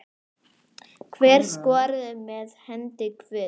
Hver skoraði með hendi guðs?